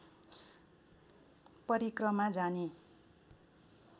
परिक्रमा जाने